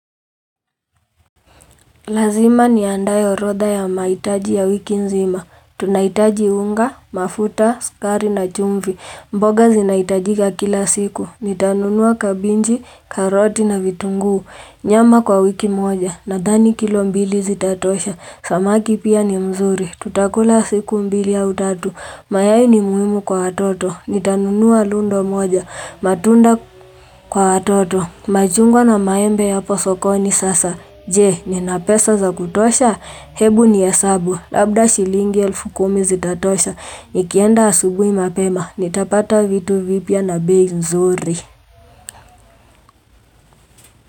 Lazima niandae orodha ya mahitaji ya wiki nzima. Tunahitaji unga, mafuta, sukari na chumvi. Mboga zinahitajika kila siku. Nitanunua kabinji, karoti na vitunguu. Nyama kwa wiki moja. Nadhani kilo mbili zitatosha. Samaki pia ni mzuri. Tutakula siku mbili au tatu. Mayai ni muhimu kwa watoto. Nitanunua lundo moja. Matunda kwa atoto. Machungwa na maembe yapo sokoni sasa, je, nina pesa za kutosha? Hebu nihesabu. Labda shilingi elfu kumi zitatosha, nikienda asubuhi mapema, nitapata vitu vipya na bei nzuri.